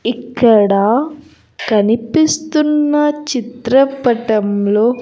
ఇక్కడ కనిపిస్తున్న చిత్రపటంలో --